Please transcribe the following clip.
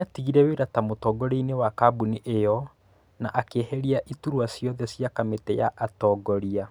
Nĩatigire wĩra ta mũtongorianĩ wa kabuni io na akĩeheria iturwa ciothe cia kamĩtĩ ya atongoria